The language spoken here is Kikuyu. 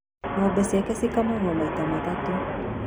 Ngombe ciake cikamagwo maita matatũ'